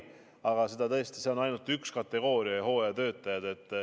Aga tõesti, see on ainult üks kategooria – hooajatöötajaid.